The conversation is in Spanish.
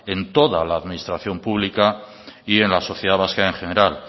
en toda la administración pública y en la sociedad vasca en general